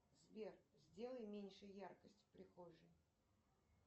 сбер сделай меньше яркости в прихожей